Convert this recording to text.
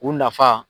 U nafa